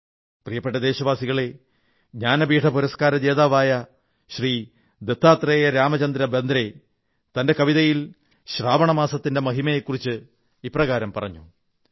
എന്റെ പ്രിയപ്പെട്ട ദേശവാസികളെ ജ്ഞാനപീഠ പുരസ്കാര ജേതാവായ ശ്രീ ദത്താത്രേയ രാമചന്ദ്ര ബേന്ദ്രേ തന്റെ കവിതയിൽ ശ്രാവണ മാസത്തിന്റെ മഹിമയെ കുറിച്ച് ഇപ്രകാരം പറഞ്ഞു